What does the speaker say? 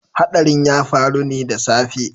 Hadarin ya faru ne da safe